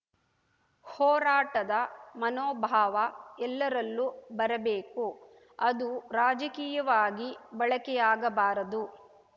ಹೋರಾಟದ ಮನೋಭಾವ ಎಲ್ಲರಲ್ಲೂ ಬರಬೇಕು ಅದು ರಾಜಕೀಯವಾಗಿ ಬಳಕೆಯಾಗಬಾರದು